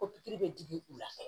Ko pikiri bɛ digi u la